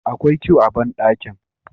Akwai que a bandakin